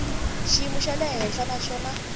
xiyimo xa le henhla naswona